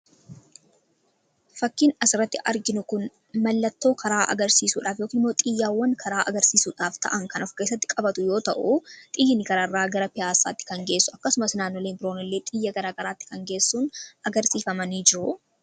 fakkiin as irratti arginu kun mallattoo karaa agarsiisuudhaaf xiyyawwan karaa agarsiisuudhaaf ta'an kan of keessatti qabatu yoo ta'u xiyyi karaa irraa gara pi'aasaatti kan geessu akkasumas naannoleen biroonillee xiyya garaa garaatti kan geessu agarsiisanii dha.